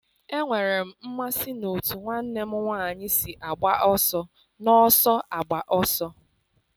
Enwere m mmasị n'otú nwanne m nwanyị si agba ọsọ n'ọsọ agba ọsọ.